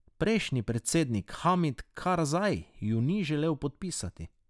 Prejšnji predsednik Hamid Karzaj ju ni želel podpisati.